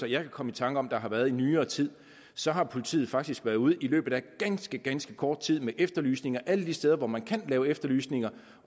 jeg kan komme i tanke om der har været i nyere tid så har politiet faktisk været ude i løbet af ganske ganske kort tid med efterlysninger alle de steder hvor man kan lave efterlysninger